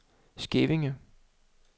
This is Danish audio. Skævinge